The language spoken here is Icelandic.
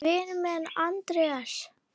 Vinur minn Andrés!